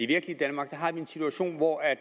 virkelige danmark har vi en situation hvor